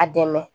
A dɛmɛ